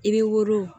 I bɛ woro